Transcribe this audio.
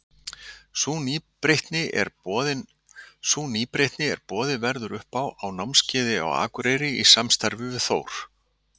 Sú nýbreytni er að boðið verður upp á námskeið á Akureyri í samstarfi við Þór.